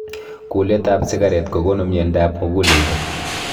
Kulet ap sikaret kokonu mnyondop muguleldo